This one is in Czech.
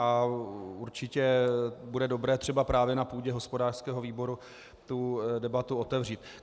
A určitě bude dobré třeba právě na půdě hospodářského výboru tu debatu otevřít.